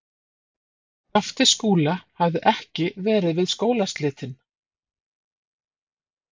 Skapti Skúla hafði ekki verið við skólaslitin.